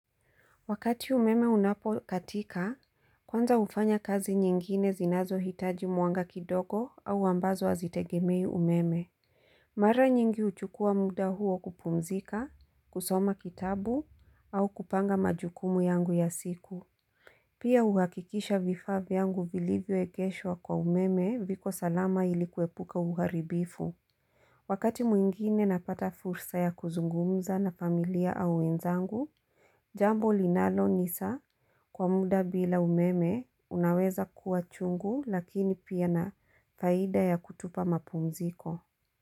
Wakati umeme unapo katika, kwanza ufanya kazi nyingine zinazo hitaji mwanga kidogo au ambazo azitegemei umeme. Mara nyingi uchukua muda huo kupumzika, kusoma kitabu au kupanga majukumu yangu ya siku. Pia uhakikisha vifaa vyangu vilivyoekeshwa kwa umeme viko salama ilikuepuka uharibifu. Wakati mwingine napata fursa ya kuzungumza na familia au wenzangu, Jambo linalo nisa kwa muda bila umeme unaweza kuwa chungu lakini pia na faida ya kutupa mapumziko.